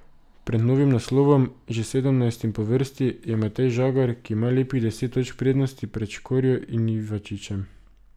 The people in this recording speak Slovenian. Pred novim naslovom, že sedemnajstim po vrsti, je Matej Žagar, ki ima lepih deset točk prednosti pred Škorjo in Ivačičem.